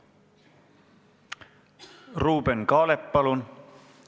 Ruuben Kaalep, palun!